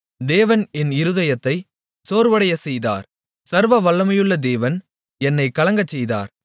தேவன் என் இருதயத்தை சோர்வடையச் செய்தார் சர்வவல்லமையுள்ள தேவன் என்னைக் கலங்கச் செய்தார்